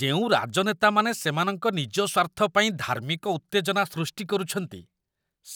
ଯେଉଁ ରାଜନେତାମାନେ ସେମାନଙ୍କ ନିଜ ସ୍ୱାର୍ଥ ପାଇଁ ଧାର୍ମିକ ଉତ୍ତେଜନା ସୃଷ୍ଟି କରୁଛନ୍ତି,